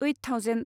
eight thousand